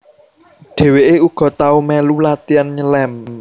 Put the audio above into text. Dheweke uga tau melu latian nyelem